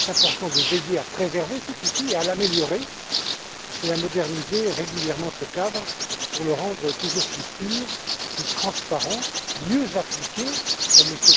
Il est donc important de veiller à préserver cet outil, à l'améliorer et à moderniser régulièrement ce cadre pour le rendre toujours plus sûr et plus transparent et mieux l'appliquer comme M.